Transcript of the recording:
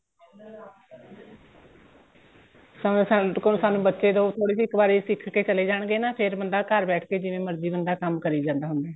ਸਾਨੂੰ ਕੋਲ ਸਾਨੂੰ ਬੱਚੇ ਦਓ ਥੋੜੀ ਜੀ ਇੱਕ ਵਾਰੀ ਸਿੱਖਕੇ ਚਲੇ ਜਾਣਗੇ ਨਾ ਫੇਰ ਬੰਦਾ ਘਰ ਬੈਠ ਕੇ ਜਿਵੇਂ ਮਰਜੀ ਬੰਦਾ ਕੰਮ ਕਰੀ ਜਾਂਦਾ ਹੁੰਦਾ